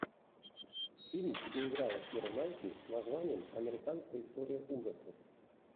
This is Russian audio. фильм где играла кира найтли с названием американская история ужасов